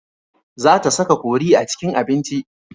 Za ta saka kori a cikin abinci.